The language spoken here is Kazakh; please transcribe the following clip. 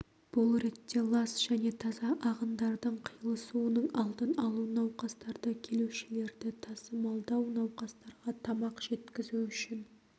бұл ретте лас және таза ағындардың қиылысуының алдын алу науқастарды келушілерді тасымалдау науқастарға тамақ жеткізу үшін